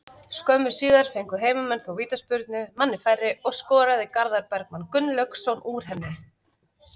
Skömmu síðar fengu heimamenn þó vítaspyrnu, manni færri, og skoraði Garðar Bergmann Gunnlaugsson úr henni.